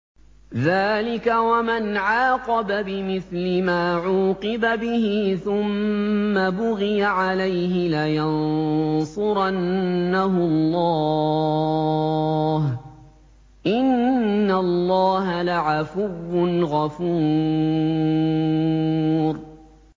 ۞ ذَٰلِكَ وَمَنْ عَاقَبَ بِمِثْلِ مَا عُوقِبَ بِهِ ثُمَّ بُغِيَ عَلَيْهِ لَيَنصُرَنَّهُ اللَّهُ ۗ إِنَّ اللَّهَ لَعَفُوٌّ غَفُورٌ